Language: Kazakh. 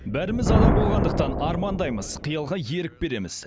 бәріміз адам болғандықтан армандаймыз қиялға ерік береміз